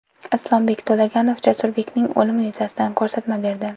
Islombek To‘laganov Jasurbekning o‘limi yuzasidan ko‘rsatma berdi.